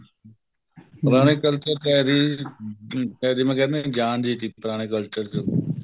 ਪੁਰਾਣੇ culture ਵਿੱਚ ਹੈ ਵੀ ਆਪਾਂ ਕਹਿ ਦਿੰਨੇ ਆ ਜਾਨ ਜੀ ਸੀ ਪੁਰਾਣੇ culture ਚ